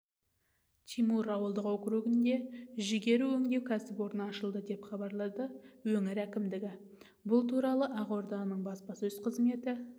тимур ауылдық округінде жүгері өңдеу кәсіпорны ашылды деп хабарлады өңір әкімдігі бұл туралы ақорданың баспасөз қызметі